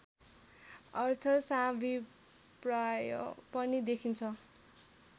अर्थ साभिप्राय पनि देखिन्छ